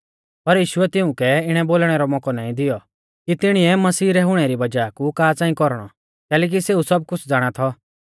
पर यीशुऐ तिऊं कै इणै बोलणै रौ मौकौ नाईं दैऔ कि तिणीऐ मसीही रै हुणै री वज़ाह कु का च़ांई कौरणौ कैलैकि सेऊ सब कुछ़ ज़ाणा थौ